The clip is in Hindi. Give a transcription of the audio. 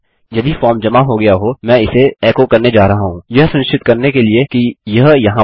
यदि फॉर्म जमा हो गया हो मैं इसे एको करने जा रहा हूँ यह सुनिश्चित करने के लिए कि यह यहाँ पर है